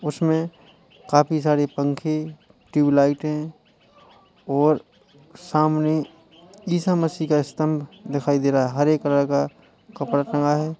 उसमे काफी सारे पंखे ट्यूबलाइटें और सामने ईसा मसीह का स्तंभ दिखाई दे रहा हरे कलर का कपड़ा टंगा है।